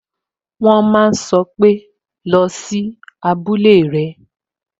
"wọn ma sọ pé" Lọ sí abúlé rẹ!